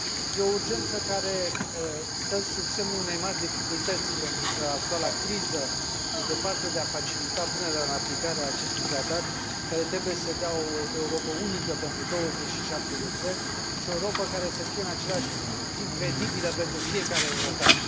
E o urgență care stă sub semnul unei mari dificultăți, pentru că actuala criza e departe de a facilita punerea în aplicare a acestui tratat, care trebuie să dea o Europă unică pentru 27 de țări și o Europă care să fie în același timp credibilă pentru fiecare european.